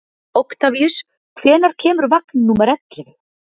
Oktavíus, hvenær kemur vagn númer ellefu?